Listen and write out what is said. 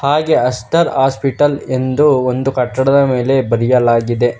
ಹಾಗೆ Aster hospital ಇಂದು ಒಂದು ಕಟ್ಟಡದ ಮೇಲೆ ಬರೆಯಲಾಗಿದೆ.